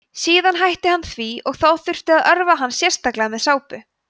síðan hætti hann því og þá þurfti að örva hann sérstaklega með sápu